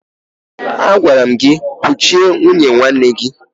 Agwara m gị kuchie nwunye nwanne gị!